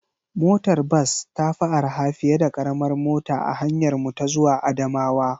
Motar bas ta fi araha fiye da karamar mota a hanyarmu ta zuwa Adamawa.